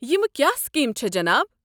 یمہٕ کیٛاہ سکیٖمہ چھےٚ جناب؟